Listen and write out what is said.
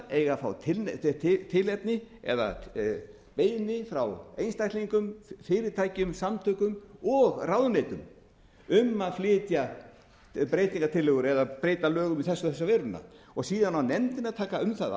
eiga að fá tilefni eða beiðni frá einstaklingum fyrirtækjum samtökum og ráðuneytum um að flytja breytingartillögur eða breyta lögum í þessa og þessa veruna síðan á nefndin að taka um það